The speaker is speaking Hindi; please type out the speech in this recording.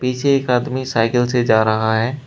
पीछे एक आदमी साइकिल से जा रहा है।